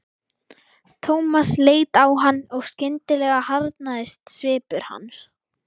Thomas leit á hann og skyndilega harðnaði svipur hans.